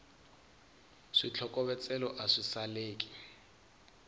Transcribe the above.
switlokovetselo a swi saleki